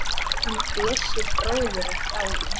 Hann Bjössi bróðir er dáinn.